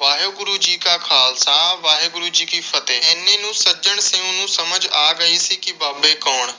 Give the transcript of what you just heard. ਵਾਹਿਗੁਰੂ ਜੀ ਕਾ ਖ਼ਾਲਸਾ ਵਾਹਿਗੁਰੂ ਜੀ ਕੀ ਫਤਹਿ। ਇੰਨੇ ਨੂੰ ਸੱਜਣ ਸਿੰਘ ਨੂੰ ਸਮਝ ਗਈ ਸੀ ਕਿ ਬਾਬੇ ਕੌਣ।